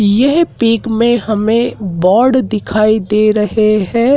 येह पिक में हमें बोर्ड दिखाई दे रहे हैं।